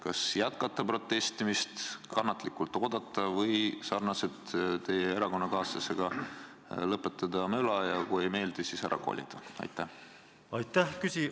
Kas jätkata protestimist, kannatlikult oodata või – sarnaselt teie erakonnakaaslasega – lõpetada möla ja kui ei meeldi, siis ära kolida?